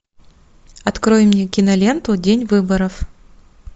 открой мне киноленту день выборов